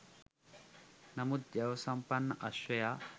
නමුත් ජව සම්පන්න අශ්වයා